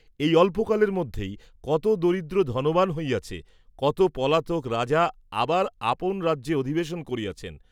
এই অল্পকালের মধ্যেই কত দরিদ্র ধনবান হইয়াছে, কত পলাতক রাজা আবার আপন রাজ্যে অধিবেশন করিয়াছেন।